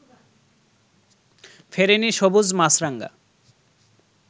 ফেরেনি সবুজ মাছরাঙা